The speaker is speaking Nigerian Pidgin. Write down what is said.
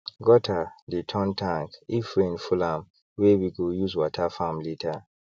gutter dey turn tank if rain full amwey we go use water farm later